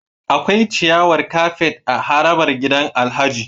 Akwai ciyawar kafet a harabar gidan Alhaji